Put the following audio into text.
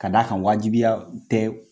K'a d'a kan wajibiya tɛ